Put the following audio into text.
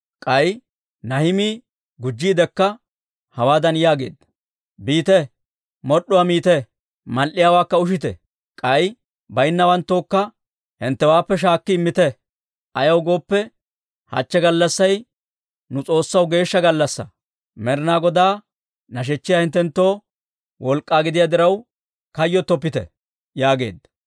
K'ay Nahimii gujjiidekka hawaadan yaageedda; «Biite, mod'd'uwaa miite; mal"iyaawaakka ushite; k'ay baynnawanttookka hinttewaappe shaakki immite. Ayaw gooppe, hachche gallassay nu S'oossaw geeshsha gallassaa. Med'inaa Godaa nashechchay hinttenttoo wolk'k'aa gidiyaa diraw kayyottoppite» yaageedda.